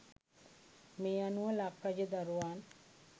මේ අනුව ලක් රජ දරුවන්